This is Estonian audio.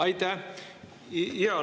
Aitäh!